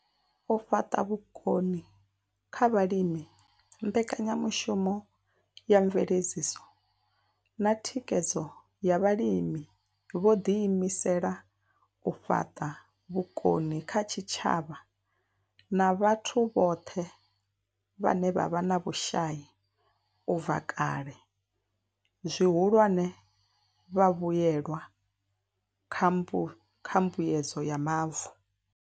U fhaṱa vhukoni kha vhalimi mbekanyamushumo ya mveledziso na thikhedzo ya vhalimi yo ḓi imisela u fhaṱa vhukoni kha zwitshavha na vhathu vhone vhaṋe vhe vha vha vhe na vhushai u bva kale, zwihulwane, vhavhuelwa kha mbu kha mbuedzo ya mavu.